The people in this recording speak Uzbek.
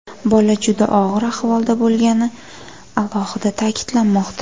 Bola juda og‘ir ahvolda bo‘lgani alohida ta’kidlanmoqda.